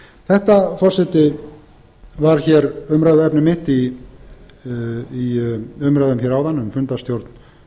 þetta forseti var hér umræðuefni mitt í umræðum hér áðan um fundarstjórn